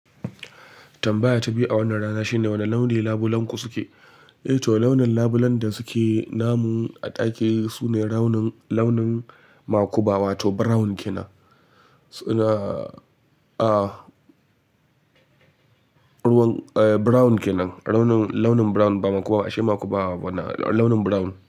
Tambaya ta biyu a wannan rana shine wani launi labulenku suke? Eh to launin labulen da suke namu a ɗaki sune launin, launin makuba wato brown kenan. Su na, ah, ruwan, eh brown kenan. Launin, launin brown ba makuba, ashe makuba ba na launin brown.